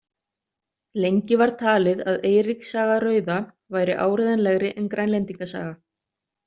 Lengi var talið að Eiríks saga rauða væri áreiðanlegri en Grænlendinga saga.